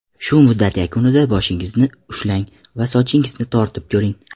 Shu muddat yakunida boshingizni ushlang va sochingizni tortib ko‘ring.